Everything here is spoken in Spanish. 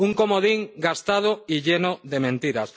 Un comodín gastado y lleno de mentiras.